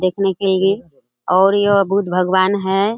देखने के लिए और यह बुद्ध भगवान है।